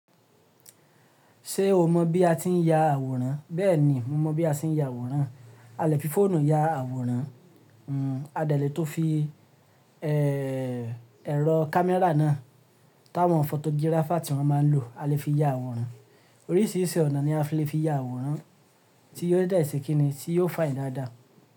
Ṣé o mọ̀ bí a ti ń ya àwòrán? Bẹ́ẹ̀ni, mo mọ̀ bí a ti ń ya àwòrán. A lè fi fóònù ya àwòrán, a de lè tun fi e--ẹ̀rọ kámẹ́rà náà táwọn fọ́tò gíráfà tí wọ́n máa ń lò, a lè fi ya àwòrán. Oríṣìíríṣìí ọ̀nà ni a lè fi ya àwòrán tí yiò de se kíni tí yio fine i daadaa.